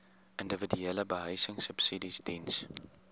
individuele behuisingsubsidies diens